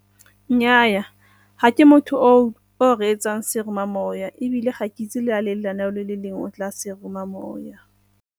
Nnyaa, ga ke motho o o reetsang seromamowa ebile ga ke itse le lenaneo le le lengwe go tla seromamowa.